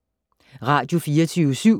Radio24syv